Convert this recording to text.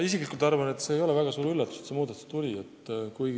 Ma isiklikult arvan, et see ei ole väga suur üllatus, et see muudatus tuli.